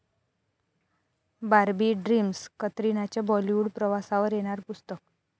Barbie dreams', कतरिनाच्या Bollywood प्रवासावर येणार पुस्तक